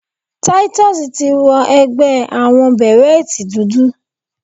Titus ti wọ ẹgbẹ́ àwọnbèrẹ́tì dúdú.